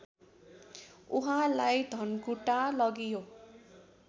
उहाँलाई धनकुटा लगियो